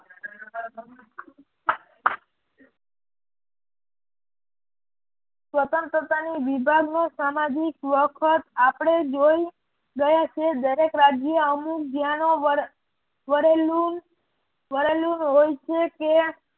સ્વતંત્રતાની વિભાગ નો સામાજિક વખત આપણે જોઈ ગયા છે. દરેક રાજ્ય અમુક જ્યાંનો વરેલુલ હોય છે કે